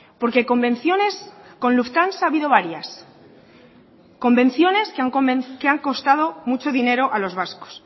porque convenciones con lufthansa ha habido varias convenciones que han costado mucho dinero a los vascos